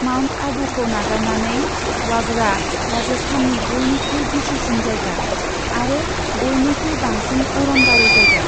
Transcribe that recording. Mount आबूखौ नागारनानै, वागड़आ राजस्थाननि बयनिख्रुइ गिसिसिन जायगा, आरो बयनिख्रुइ बांसिन अरनबारि जायगा।